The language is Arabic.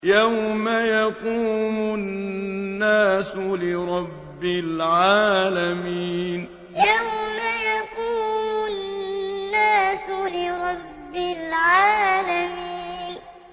يَوْمَ يَقُومُ النَّاسُ لِرَبِّ الْعَالَمِينَ يَوْمَ يَقُومُ النَّاسُ لِرَبِّ الْعَالَمِينَ